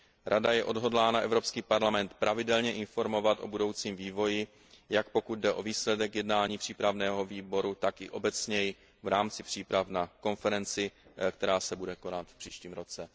Rada je odhodlána Evropský parlament pravidelně informovat o budoucím vývoji, jak pokud jde o výsledek jednání přípravného výboru, tak i obecněji v rámci příprav na konferenci, která se bude konat v příštím roce.